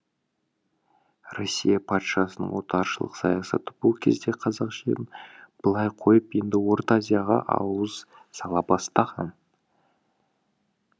россия патшасының отаршылық саясаты бұл кезде қазақ жерін былай қойып енді орта азияға ауыз сала бастаған